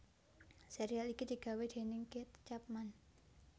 Sérial iki digawé déning Keith Chapman